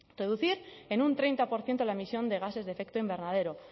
reducir en un treinta por ciento la emisión de gases de efecto invernadero